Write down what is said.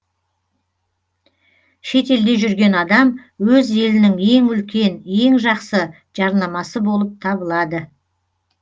шетелде жүрген адам өз елінің ең үлкен ең жақсы жарнамасы болып табылады